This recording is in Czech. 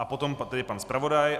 A potom tedy pan zpravodaj.